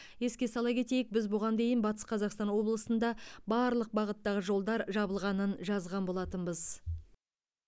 еске сала кетейік біз бұған дейін батыс қазақстан облысында барлық бағыттағы жолдар жабылғанын жазған болатынбыз